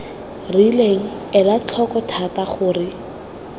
rileng ela tlhoko thata gore